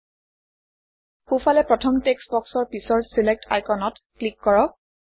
সোঁফালে প্ৰথম টেক্সট্ বক্সৰ পিছৰ ছিলেক্ট আইকনত ক্লিক কৰক